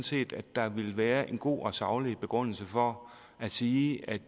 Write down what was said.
set at der vil være en god og saglig begrundelse for at sige at